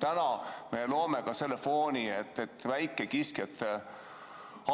Täna me loome selle fooni, et väikekiskjate